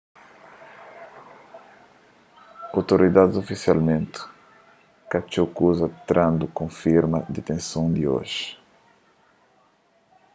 outoridadis ofisialmenti ka txeu kuza trandu konfirma ditenson di oji